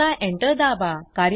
आता एंटर दाबा